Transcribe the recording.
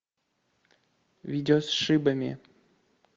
видео с шибами